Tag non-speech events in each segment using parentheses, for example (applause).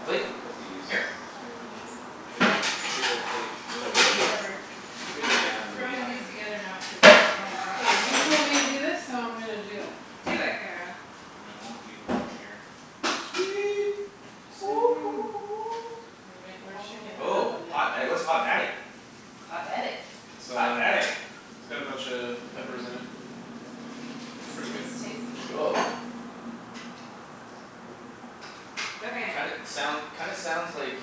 Plate? plate to put these. Here. Sorry. Get that big ol' plate for Looking everyone. for Whatever. some Big I'm one just yeah and then I'll Okay throwing just these okay okay together now cuz I don't know what K, goes you with told me to what. do this so I'm gonna do it. Do it, Kara. And I won't need one here. Sweet exciting. (noise) (noise) We're shakin' it Oh. up Oh a little. hot da- what's hot daddy? It's hot daddy. It's Hot um daddy it's got a buncha peppers in it. It's pretty It's good. it's tasty. Cool Okay. Kinda soun- kinda sounds like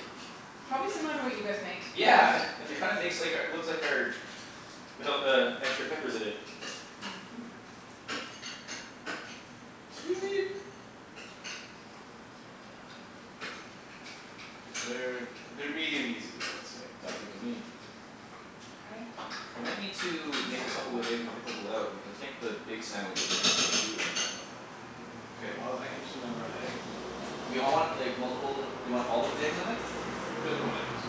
Probably similar to what you guys make to be Yeah honest. um it kinda makes like our looks like our Without the extra peppers in it. Mhm. Sweet Cuz they're they're medium easy I would say. Sounds good to me I think We might need to we make a make couple more of with eggs and with a this. couple out. Because I think the big sandwiches are gonna take two of them. K well I can just do another round of eggs, easy. Do we all want like multiple do we all of 'em with eggs on it? Who doesn't want eggs?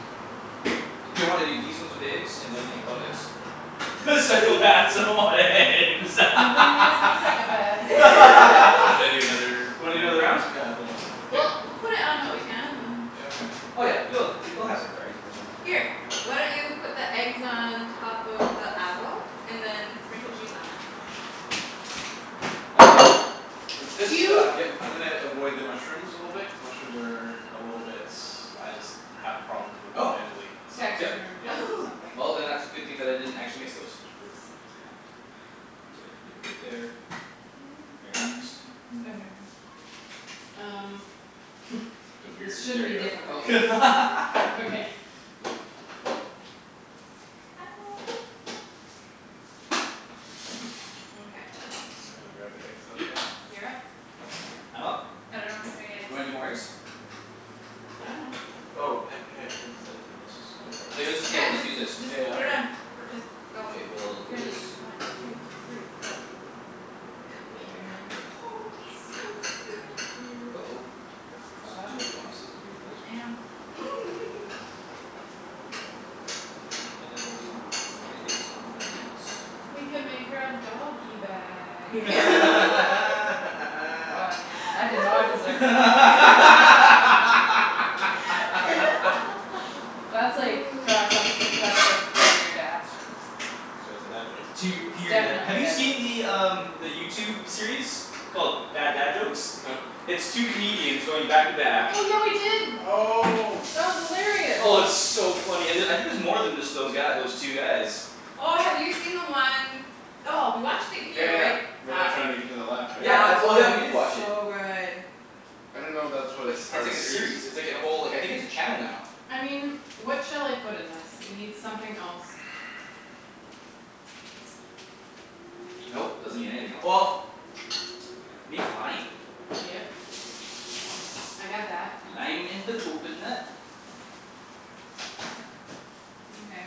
Do you wanna do these ones with eggs and those ones without eggs? Psychopaths don't (laughs) want Psychopaths eggs. (laughs) don't want eggs. (laughs) Good (laughs) thing there's no psychopaths here. So should I do another (laughs) Wanna do another round round? of them? Yeah I'll do another round. K Well we'll put it on what we can and then Yeah, okay. Oh yeah. She loves it. She we'll have some variety, that's fine. Here, why don't you put the eggs on top of the avo and then sprinkle cheese on it? Um for this Do you stuff Yep. I'm gonna avoid the mushrooms a little bit cuz mushrooms are A little bit I just have problems with them Oh mentally so yep Texture yeah. Oh (laughs) something. Well then that's good thing that I didn't actually mix those. Oops, I just bonked. (inaudible) leave it right there. They're not mixed. Okay. (noise) Um (laughs) The weird This shouldn't there be difficult we go I love (laughs) (laughs) okay. you (noise) Mkay. I'm gonna grab the eggs out Yep again. You're up. I'm up? I dunno who's doing eggs. Do you wanna do more eggs? I dunno. Oh epi- had Ped said let's just go for it. Like Yeah, let's just yeah we'll just just use this just Yeah yeah put it okay on. Just perfect. go. K well I'll do Ready, this. one two three go. One Go egg Ian there. (noise) So go. Ian go Come in excited. go here. go go. Uh oh It's It's all right. too bad we don't have Susie here for this (noise) I one. know. (laughs) All right like that and then we'll do one egg is on one of these. We can make her a doggy bag. Oh (laughs) man, I did not deserve laughter. (laughs) That's like, Josh, that's (noise) that's (laughs) like one of your dad's jokes. So it's a dad joke. It's tear It's pure dad definitely have a you dad joke. see the um The YouTube series called Bad Dad Jokes? No. It's two comedians going back to back Oh yeah we did. Oh That was hilarious. Oh and it's so funny and uh I think there's more than just those guy those two guys. Oh have you seen the one. Oh we watched it Yeah here right? yeah where they're That trying to make each other laugh right? Yeah that that's oh we was did watch it. so good. I didn't know that That's a was it's part of like a a series. series. It's like a whole I think it's a channel now. I mean, what shall I put in this? It need something else. (noise) (noise) Nope, doesn't need anything el- well Needs lime. Yep. I got that. Lime in the coconut. Mkay.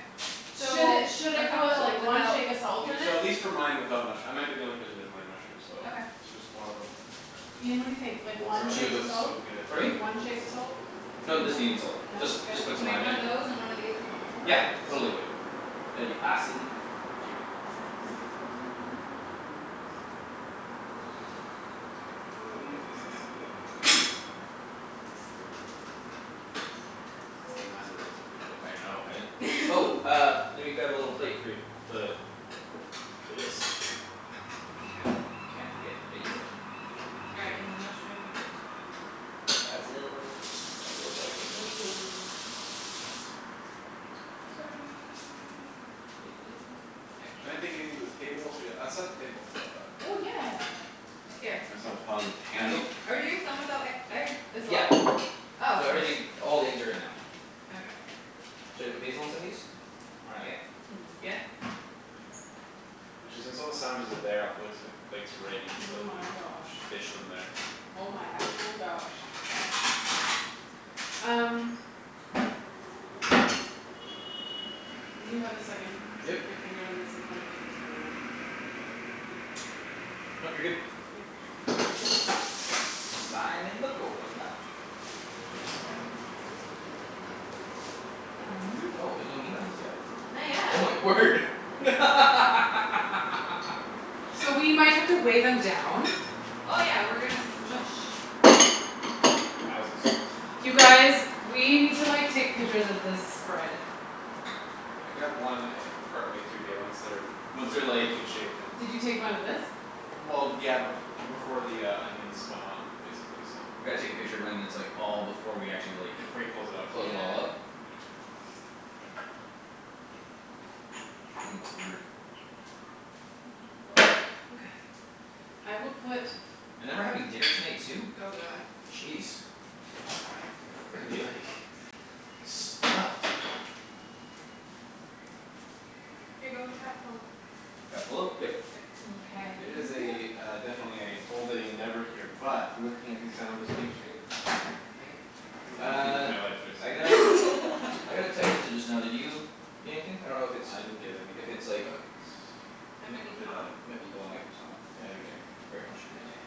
So Should it should a I call couple it like one without shake of salt in Yeah so at it? least for mine without mush- I might be the only person that doesn't like mushrooms so Okay. so just one of them. Ian, what do you think? Like Oh (inaudible) one shake of looks so salt? (inaudible) good. Pardon me? One shake of salt? Dunno. No No? Good? doesn't need any salt. Just just put I'll some make lime one in it. of those and one of these without mushrooms? Yeah Perfect. So totally good. that'd be Uh giant awesome. Thank you. uh pepper away from the mushrooms That's perf- if you wanna bake it's another dill. Oh man do those look good though. I know hey? Oh (laughs) uh let me grab a little plate for you. The For this. Mkay. Can't forget basil. All right, and then mushrooms uh Basil basil basil basil Sorry (noise) Can I take Sorry. anything to the table? Should I get I'll set the table how 'bout that? Oh yeah. Here. Myself hond- Um Basil? handy. are we doing some without e- egg as well? Yeah Oh K. so everything all the eggs are in now. Okay. Should I put basil on some of these? Or not yet? Hmm. Yeah. Actually since all the sandwiches are there I'll probably just get the plates ready Oh so we my can gosh. dish them there. Oh my actual gosh. Um. When you have a second, Yep stick your finger in this and tell me if it needs more lime. (noise) Nope you're good. K. Lime in the coconut. (noise) You drink it all up. Um. Oh there's no meat on these yet? Not Oh my yet. word (laughs) So we might have to wave Oh. 'em down. Oh yeah, we're gonna smoosh. Wowzus You guys, we need to like take pictures of this spread. I got one e- partway through bae once they're Once Once they're they're like taken shape then Did you take one of this? Well yeah bef- before the uh onions went on basically so. We gotta take a picture when it's like all before we actually Yeah like before you close it up. close it all up Yeah. Oh my word. Please don't fall out. Okay. I will put And then we're having dinner tonight too? Oh god. Jeez We're gonna be like (laughs) stuffed. Here go with the Capocollo. Capocollo? Yep. Yep. Mkay It is (noise) a uh definitely a full day endeavor here But looking at these sandwiches take shape I think I'm pretty happy with Uh my life choice so I got I got a (laughs) text message just now did you get anything? I don't know if it's I didn't get if anything it's like but It m- might Or be did Tom. I? Yeah might be oh it might be Tom. I didn't get anything. Very much could be Okay. Tom.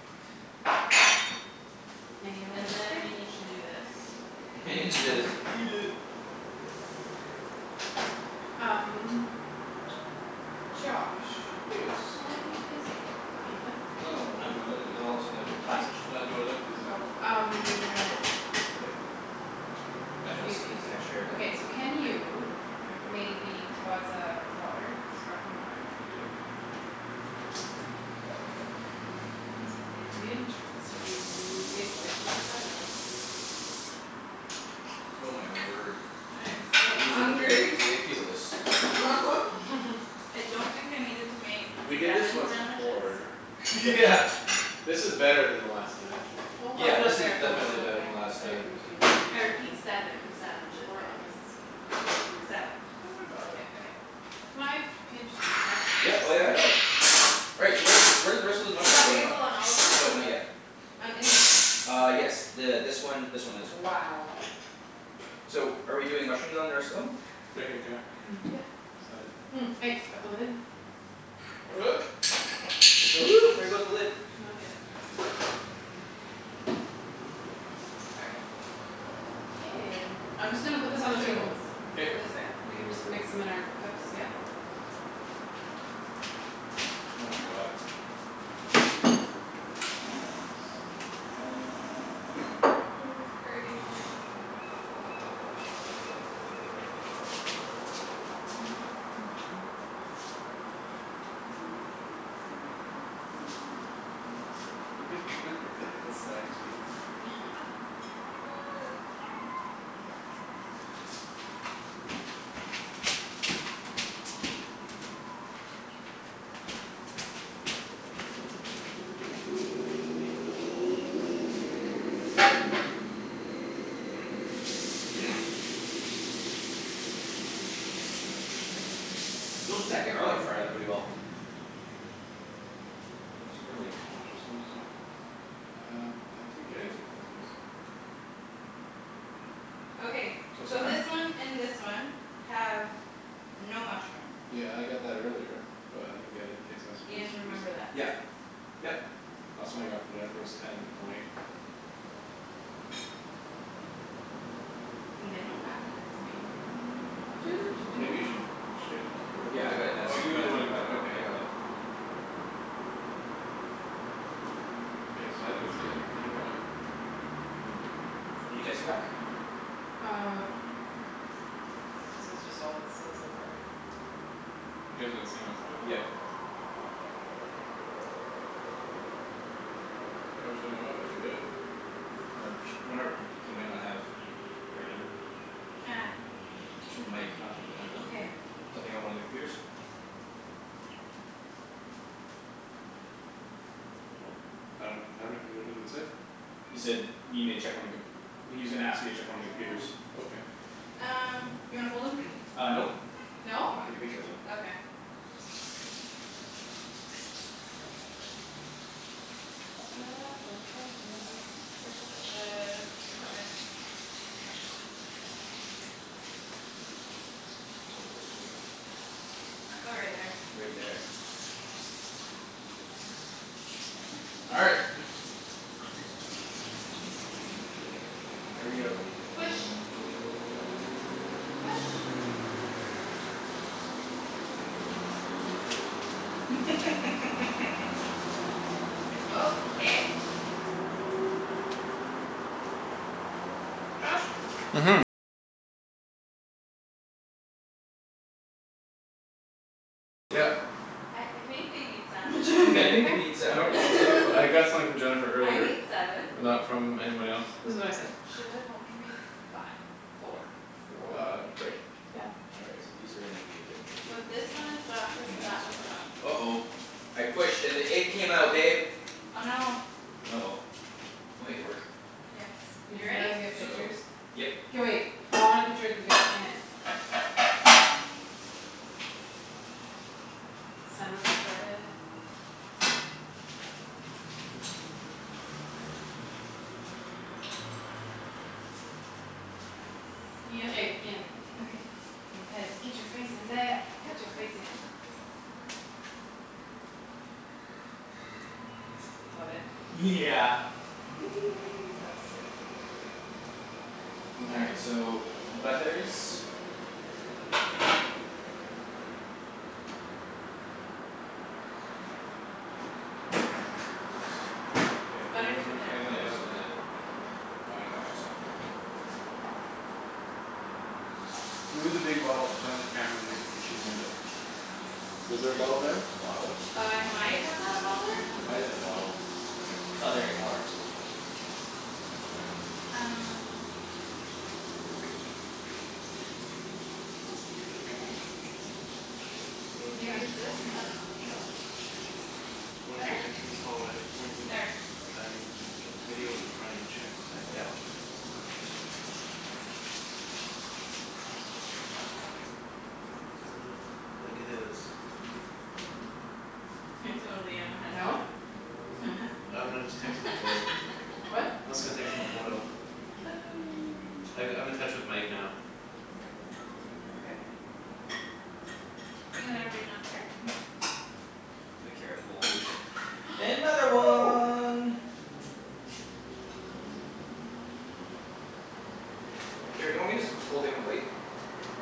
Mayo in And the then you fridge. need to do this. Then (noise) just eat it. Um Josh, Yes. are you busy at the moment? (noise) Oh No, do I look busy? now all of a sudden I've What? changed No, do I look busy? Oh, I got Um this one. K (noise) No, I don't. This needs an extra okay so capocollo can you Oh. Maybe buzz a water? Sparkling water? Yep. It's very interesting. It tastes like (inaudible) Oh my word. I am so These are hungry. ridiculous. (laughs) (laughs) I don't think I needed to make We did this seven once sandwiches. before (laughs) Yeah but. This is better than the last time. Don't buzz Yeah it up this is there don't buzz it definitely up better there. than last Put it time. on the table if you need I to, honey. repeat, seven sandwiches Or on the guys. don't do Seven. Don't worry 'bout k, it. okay. Can I pinch the I Yeah just oh sorry yeah no Right, so where where're the rest of those You got mushrooms going on? basil on all of No them? not yet. On any of them? Uh yes th- this one this one and this one. Wow. So are we doing mushrooms on the rest of them? Right here, Kara Yeah. (noise) Right beside. (noise) Thanks, got the lid? (noise) There it goes. (noise) there goes the lid. N- I'll get it. Sorry. K, (noise) I'm just gonna put this on the Mushrooms table. go All K this right. way? We can just mix 'em in our cups, yeah? Oh my god. (laughs) (noise) This is crazy. (noise) Yeah (laughs) Double (noise) stacked cheese. s- yes yes yes yes (noise) (noise) Those Check deck your garlic phone. fried up really well. I'm super like Josh is almost there (noise) Um I didn't get any text messages. Okay, What's so going on? this one and this one have no mushroom. Yeah I got that earlier, but I didn't get any text messages Ian, remember recently. that. Yep yep Last one I got from Jennifer was ten O eight. Well, they know not to text me. Maybe you should (noise) check oh Yeah yeah I well got it you that's oh you were the one who got it that that I got okay. it. K, so I didn't see it, I don't know why. (noise) You texting back? Uh This is just all it said so far. You guys got the same message I think. Yep. I wish I knew why but I didn't get it. Wonder if wonder if he might not have The right number. (noise) It's from Mike not from Jennifer. Okay. Something about one of the computers? Well I don't have anything what does it say? He said need me to check one of the com- well he's gonna ask you to Oh it's check one right of the there. computers. Okay. Um, you wanna (noise) fold 'em? Uh nope No? I wanna take a picture of them. Okay. (noise) Careful with the equipment. Oh right there. Right there. All right. Here we go. Push. Push. (laughs) Okay. Josh. I I think they need sandwiches You I get think anything? they need Nope, sandwiches (laughs) too I got something from Jennifer (noise) I earlier made seven. but not from anybody else. This is what I said. Should've only made five four. Four Uh great. Yeah. All right so these are gonna be a bit tricky. And So this one is that's Josh's and that one's Josh. Josh's. Uh oh I pushed and the egg came out babe Oh no. Oh well, we'll make it work. Yes, Did you you ready? guys get So pictures? Yep K wait, I want a picture of you guys in it. Sandwich spread. K, Ian. Okay. And Ped. Get your face in there. Go go Get your face go go. in. Love it. Yeah (laughs) That's so cool. All Mkay. right so butlers Okay Butter's right (noise) there. I got Yeah I just that need the now. oh I'm gonna wash this off with your (inaudible) "Can you move the big bottle in front of the camera near the kitchen window?" Was The there a big bottle there? bottle? Uh I might have had a bottle there. There might've been a bottle. Okay. It's not there anymore. All right. Um. New Maybe it's text. this? I dunno. No? "One at Better? the entrance hallway pointing" There. "Dining (noise) so the video is running. Check the timer." Yeah I'll check. Doesn't look like it is. (laughs) I totally am a head No? chef. (laughs) I'm gonna just text him a photo. What? I'm just gonna text him a photo. (noise) I g- I'm in touch with Mike now. Okay. Ian there'll be enough butter? Nope The Kara pulled another one. (noise) Kara, do you want me just put Okay. this whole thing on a plate?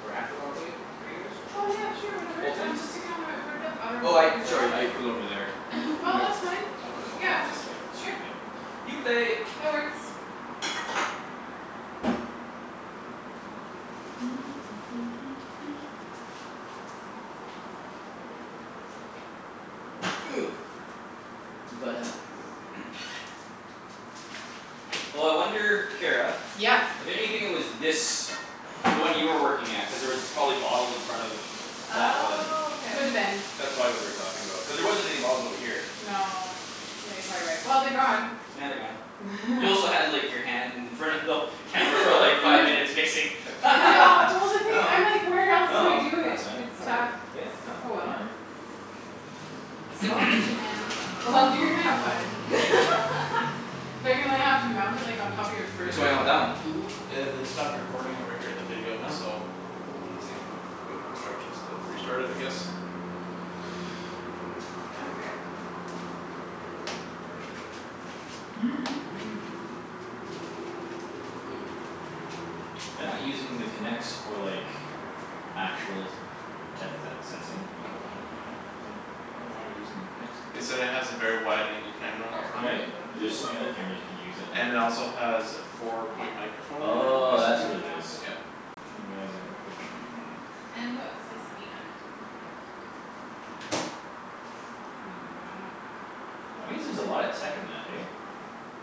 Or half of i- on a plate for you guys? Oh yeah sure whatever. Whole thing? Um just stick it on my where that butter Oh I went. Is it sorry I running? put it over there. I Oh that's (laughs) fine, I'll put it I'll put it on another plate. just sure New plate. New plate That works. (noise) (noise) (noise) Oh I wonder Kara. Yeah. I bet you anything it was this The one you were working at cuz there was probably bottles in front of That one Oh K. Coulda been. That's probably what they were talking about cuz there wasn't any bottles over here. No yeah you're probably right. Well they're gone. Yeah they're gone. You also had like (laughs) your hand in front of the Camera for like (laughs) I five know. minutes mixing. I know (laughs) well (laughs) No the thing no I'm like where else do I do (noise) that's it? fine It's whatever tough. yeah no Oh well. whatever. Small kitchen, (noise) man. Well, you're gonna have fun. (laughs) They're gonna have to mount it like on top of your What's fridge or going on with something. that one? Mhm. Yeah they'd stopped recording over here, the video Oh so. (noise) They say uh wait instructions to restart it I guess. (noise) Okay. (noise) (noise) They're not using the Kinects for like Actual depth se- sensing? Nope. Mhm. I wonder why Damn they're it. using the Kinects They then? said it That has a works. very wide angle camera Oh it's on a Right it. (inaudible) one but there's so many other (laughs) cameras you can use that have And it it Oh also has a four Well, point microphone we'll in Oh there make is the that's the what other it is. half of thing. it. Yeah. Didn't realize they had a four point microphone in it. And put a slice of meat on it. Yeah. I mean, which one? I'll That hold your means there's a marker. lot of tech in that This eh? one.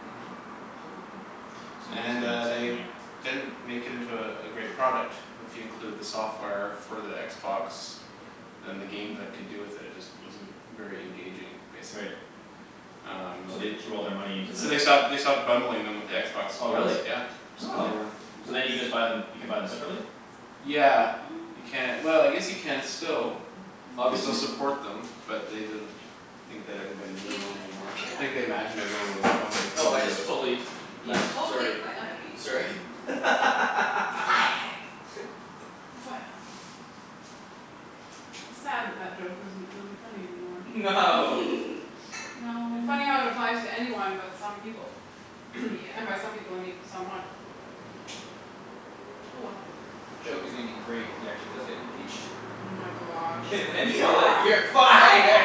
Mhm. (noise) It's And amazing amount uh of tech in they there. didn't make it into uh a great product if you include the software for the Xbox. Yep. Then the games that could do with it (noise) it just wasn't very engaging, basically Right Um no So the they (noise) threw all their money in there. So they (noise) stopped they Okay. stopped bundling them with the Xbox Oh really Ones, yeah. Just cuz Oh they weren't so then you can (noise) Oops. just buy them you can buy them separately? Yeah (noise) you ca- well I guess you can still. They still Obviously. (noise) support them but they didn't Think that everybody needed Ian one just anymore. quit on Think they me. imagined everyone would love 'em Oh I including just the totally You left totally sorry quit on me. sorry (laughs) You're fired. You're fired. It's sad that that joke isn't really funny anymore. (laughs) No. No (laughs) It funny how it applies to anyone but some people. (noise) Yeah. And by some people I mean someone. Oh well. The joke is gonna be great if he actually does get impeached Oh my gosh. (laughs) And then you're like, You're "You're fired" fired.